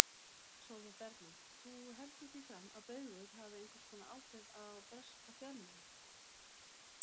Sólveig Bergmann: Þú heldur því fram að Baugur hafi einhvers konar áhrif á breska fjölmiðla?